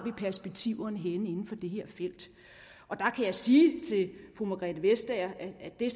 perspektiverne henne inden for det her felt der kan jeg sige til fru margrethe vestager at det